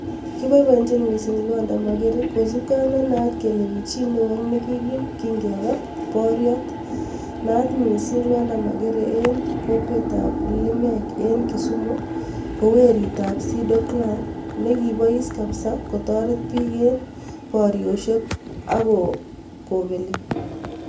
Kiboiboenchin mising Lwanda Magere, kosipkei ak nenaat kele kichii newo ak nekikiim kingepa boriet. Naat mising Lwanda Magere en kokwet ab limek en kisumu, ko werit ab Sido clan. Nekibois kabisa kotoret biik en boriosiek, akopeli.